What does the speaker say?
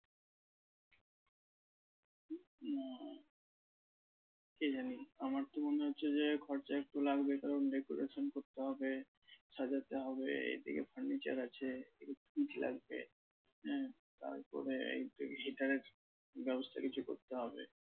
কে জানি আমার তো মনে হচ্ছে যে খরচা একটু লাগবে কারণ decoration করতে হবে সাজাতে হবে এদিকে furniture আছে লাগবে হ্যাঁ তারপরে heater এর ব্যবস্থা কিছু করতে হবে